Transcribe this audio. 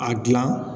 A gilan